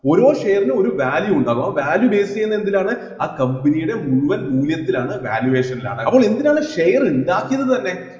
ഓരോ shares നും ഒരു value ഉണ്ട് അപ്പൊ value base ചെയ്യുന്നത് എന്തിലാണ് ആ company യുടെ മുഴുവൻ മൂല്യത്തിലാണ് valuation ലാണ് അപ്പോൾ എന്തിനാണ് share ഇണ്ടാക്കിയത് തന്നെ